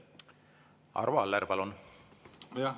Arvo Aller, palun!